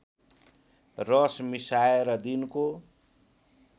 रस मिसाएर दिनको